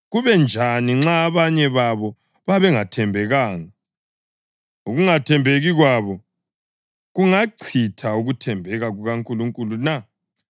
Kuba njani nxa abanye babo babengathembekanga? Ukungathembeki kwabo kungachitha ukuthembeka kukaNkulunkulu na?